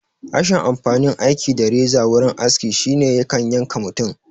Rashin amfanin aiki da reza wurin aski shine yakan yanka mutum